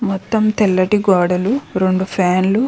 మొత్తం తెల్లటి గోడలు రెండు ఫ్యాన్ లు.